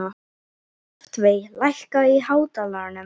Loftveig, lækkaðu í hátalaranum.